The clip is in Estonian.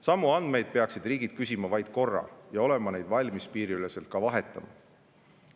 Samu andmeid peaksid riigid küsima vaid korra ja olema neid valmis piiriüleselt ka vahetama.